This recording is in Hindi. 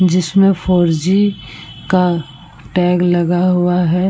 जिसमे फोर जी का टैग लगा हुआ है।